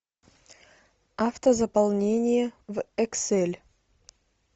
автозаполнение в эксель